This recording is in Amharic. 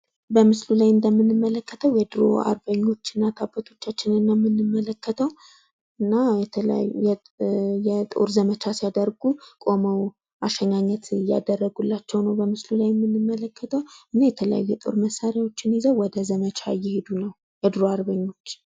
በምስሉ ላይ እንደምንመለከተው የድሮ አርበኞች እናት አባቶቻችን ነው የምንመለከተው። እና የተለያዩ የጦር ዘመቻ ሲያደርጉ ቆመው አሸኛኘት እያደረጉላቸው ነው በምስሉ ላይ የምንመለከተው ።እና የተለያዩ የጦር መሳሪያ ይዘው ወደ ዘመቻ እየሄዱ ነው። የዱሮ አርበኞች